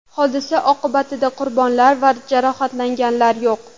Hodisa oqibatida qurbonlar va jarohatlanganlar yo‘q.